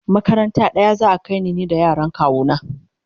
makaranta ɗaya za'a kaimu ni da yaran kawu na